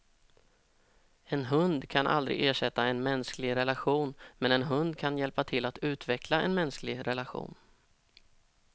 En hund kan aldrig ersätta en mänsklig relation, men en hund kan hjälpa till att utveckla en mänsklig relation.